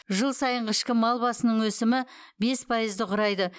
жыл сайынғы ішкі мал басының өсімі бес пайызды құрайды